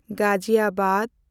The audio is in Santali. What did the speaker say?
ᱜᱟᱡᱤᱭᱟᱵᱟᱫᱽ